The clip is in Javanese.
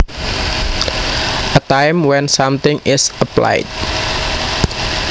A time when something is applied